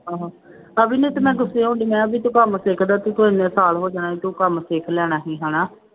ਹਾਂ ਅਬੀ ਨੂੰ ਤੇ ਮੈਂ ਗੁੱਸੇ ਹੋ ਗਈ ਮੈਂ ਕਿਹਾ ਵੀ ਤੂੰ ਕੰਮ ਸਿੱਖਦਾ ਤੂੰ ਕੋਈ ਸਾਲ ਹੋ ਜਾਣਾ ਤੂੰ ਕੰਮ ਦੇਖ ਲੈਣਾ ਸੀ ਹਨਾ।